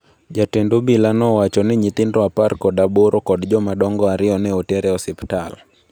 Jatend obila nowacho ni nyithindo 18 kod jomadongo ariyo ne oter e osiptal.